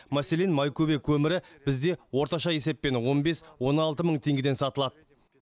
мәселен майкөбе көмірі бізде орташа есеппен он бес он алты мың теңгеден сатылады